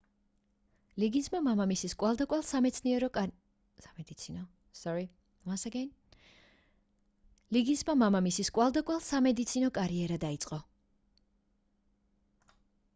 ლიგინსმა მამამისის კვალდაკვალ სამედიცინო კარიერა დაიწყო